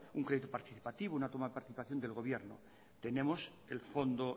un crédito participativo una toma de participación del gobierno tenemos el fondo